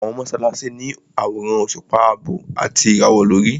Àwọn mọ́sálásí ní àwòrán òṣùpá àbọ̀ àti ìràwọ̀ lórí.